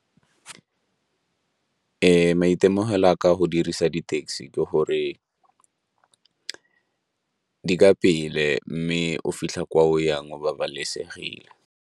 Maitemogelo a ka a go dirisa di-taxi ke gore di ka pele mme o fitlha kwa o yang o babalesegile.